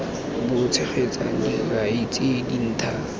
bo tshegetsang dikai tse dintha